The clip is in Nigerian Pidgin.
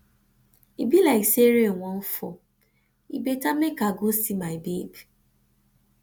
e be like say rain wan fall e better make i go see my babe